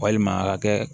Walima a ka kɛ